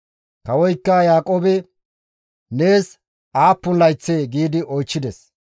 Kawoykka Yaaqoobe, «Nees aappun layththee?» gi oychchides.